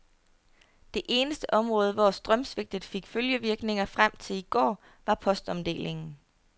Det eneste område, hvor strømsvigtet fik følgevirkninger frem til i går, var postomdelingen.